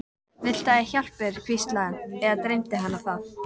Viltu ég hjálpi þér, hvíslaði hann- eða dreymdi hana það?